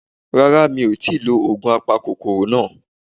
Rárá mi ò tíì lo ògùn apakòkòrò náà